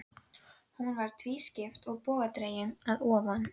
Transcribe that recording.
Mér vitanlega hefur hún lesið tvær bækur eftir sambýlismann sinn.